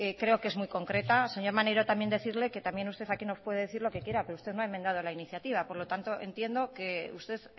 creo que es muy concreta señor maneiro también decirle que también usted nos puede decir lo que quiera pero usted no ha enmendado la iniciativa por lo tanto entiendo que usted